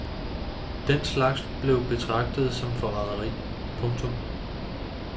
Den slags blev betragtet som forrædderi. punktum